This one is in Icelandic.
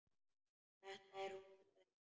Þetta er hún sagði hann.